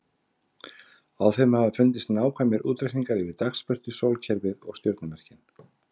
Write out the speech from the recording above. Á þeim hafa fundist nákvæmir útreikningar yfir dagsbirtu, sólkerfið og stjörnumerkin.